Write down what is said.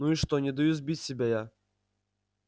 ну и что не даю сбить себя я